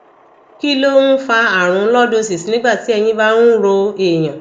kí ló ń fa àrùn lordosis nígbà tí ẹyìn bá ń ro èèyàn